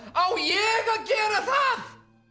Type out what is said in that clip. á ég að gera það